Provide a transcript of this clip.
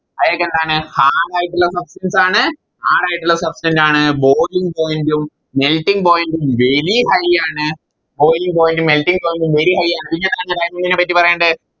അതൊക്കെ എന്താണ് Hard ആയിട്ടുള്ള Substance ആണ് Hard ആയിട്ടുള്ള Substant ആണ് Boiling point ഉം Melting point ഉം Very high ആണ് Boiling point ഉം Melting point ഉം Very high ആണ് diamond നെപ്പറ്റി പറയണ്ടേ